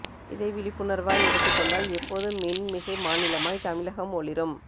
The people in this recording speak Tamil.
இதை விழிப்புணர்வாய் எடுத்துக்கொண்டால் எப்போதும் மின் மிகை மாநிலமாய் தமிழகம் ஒளிரும்